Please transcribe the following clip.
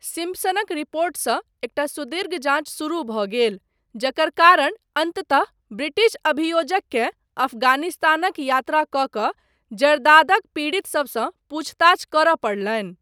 सिम्पसनक रिपोर्टसँ एकटा सुदीर्घ जाँच शुरू भऽ गेल, जकर कारण अन्ततः ब्रिटिश अभियोजककेँ अफगानिस्तानक यात्रा कऽ कऽ जरदादक पीड़ित सबसँ पूछताछ करय पड़लनि।